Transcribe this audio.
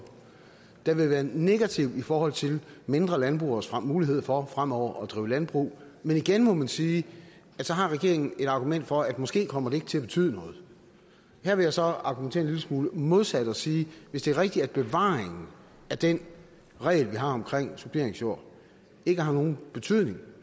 den vil være negativ i forhold til mindre landbrugeres mulighed for fremover at drive landbrug men igen må man sige at så har regeringen et argument for at det måske ikke kommer til at betyde noget her vil jeg så argumentere en lille smule modsat og sige at hvis det er rigtigt at bevaringen af den regel vi har om suppleringsjord ikke har nogen betydning